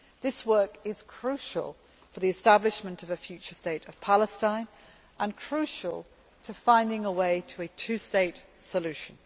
This work is crucial for the establishment of a future state of Palestine and crucial to finding a way to a two state solution.